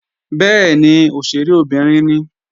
Bẹ́ẹ̀ni, òṣèré obìnrin ni